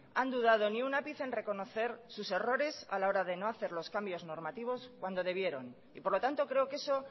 han dudado ni un ápice en reconocer sus errores a la hora de no hacer los cambios normativos cuando debieron y por lo tanto creo que eso